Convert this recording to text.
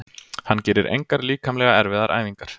Hann gerir engar líkamlega erfiðar æfingar.